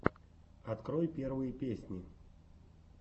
открой первые песни